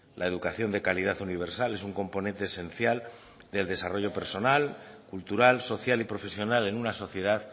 la educación de calidad universal es un componente esencial del desarrollo personal cultural social y profesional en una sociedad